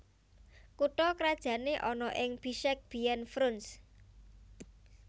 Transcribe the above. Kutha krajané ana ing Bishkek biyèn Frunze